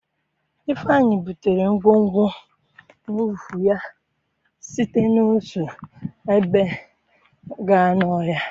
Ifeeanyi butere ngwongwo n'ụkwụ ya site n'otu ebe gaa n'ọhịa.